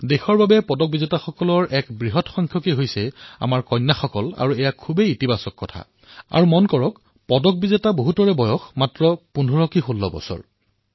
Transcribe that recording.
দেশ বাবে পদক বিজেতাসকলৰ ভিতৰত বৃহৎ সংখ্যাত আমাৰ কন্যাসকলো অন্তৰ্ভুক্ত আছে আৰু এয়া খুবেই ধনাত্মক সংকেত আনকি পদক বিজেতা যুৱ খেলুৱৈসকলৰ ভিতৰত ১৫১৬ বৰ্ষৰ যুৱ খেলুৱৈও আছে